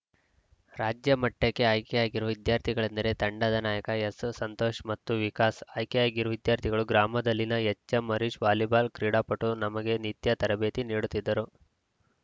ರಾಜ್ಯ ಮಟ್ಟಕ್ಕೆ ಆಯ್ಕೆಯಾಗಿರುವ ವಿದ್ಯಾರ್ಥಿಗಳೆಂದರೆ ತಂಡದ ನಾಯಕ ಎಸ್‌ಎಸ್‌ಸಂತೋಷ್‌ ಮತ್ತು ವಿಕಾಸ್‌ ಆಯ್ಕೆಯಾಗಿರುವ ವಿದ್ಯಾರ್ಥಿಗಳು ಗ್ರಾಮದಲ್ಲಿನ ಎಚ್‌ಎಂಹರೀಶ್‌ ವಾಲಿಬಾಲ್‌ ಕ್ರೀಡಾಪಟು ನಮಗೆ ನಿತ್ಯ ತರಬೇತಿ ನೀಡುತ್ತಿದ್ದರು